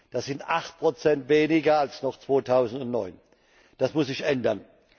Das sind 8 weniger als noch 2009. Das muss sich ändern!